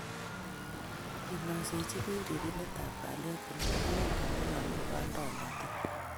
kiinaiseji biik ripindet ab kalyet kole inendet nenomu kaindoinatet